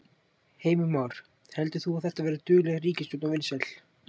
Heimir Már: Heldur þú að þetta verði dugleg ríkisstjórn og vinsæl?